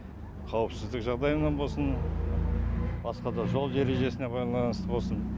қауіпсіздік жағдайынан болсын басқа да жол ережесіне байланыстын болсын